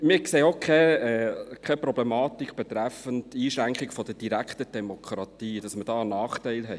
Wir sehen auch keine Problematik bei der Einschränkung der direkten Demokratie, sodass wir dort einen Nachteil hätten.